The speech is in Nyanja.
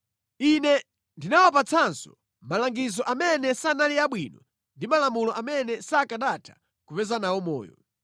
Ine ndinawapatsanso malangizo amene sanali abwino ndi malamulo amene sakanatha kupeza nawo moyo.